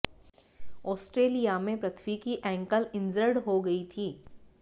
Australia में पृथ्वी की ankle injured हो गई थी